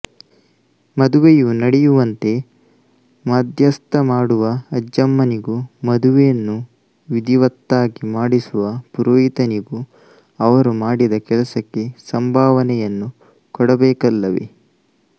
ಮದುವೆಯು ನಡೆಯುವಂತೆ ಮಾಧ್ಯಸ್ಥಮಾಡುವ ಅಜ್ಜಮ್ಮನಿಗೂ ಮದುವೆಯನ್ನು ವಿಧಿವತ್ತಾಗಿ ಮಾಡಿಸುವ ಪುರೋಹಿತನಿಗೂ ಅವರು ಮಾಡಿದ ಕೆಲಸಕ್ಕೆ ಸಂಭಾವನೆಯನ್ನು ಕೊಡಬೇಕಲ್ಲವೆ